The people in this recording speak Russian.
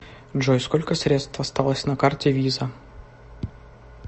джой сколько средств осталось на карте виза